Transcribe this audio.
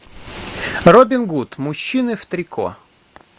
робин гуд мужчины в трико